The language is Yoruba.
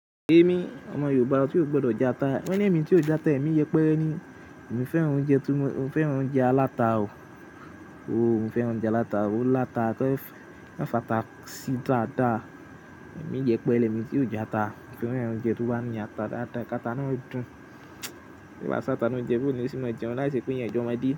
Èmi ọmọ Yorùbá tí ò gbọdọ̀ já ata, wo lemí tí ò játa, èmi yẹpẹre ni. Èmi fẹ́ràn oúnjẹ tí mo fẹ́ràn oúnjẹ alata o. Ooo, mo fẹ́ràn oúnjẹ alata. Òó láta tẹ́ ẹ fẹ́ fẹ́ fàtà sí dáadáa. Èmi yẹpẹre, lèmi tí ò játa, fẹ́ràn oúnjẹ tó bá ní ata dáadáa, ata náà dún. Tí ò bá sí ata nú oúnjẹ, báwo léèyàn ó ṣe máa jẹun, láìsí pé èèyàn jẹ ọmọdé.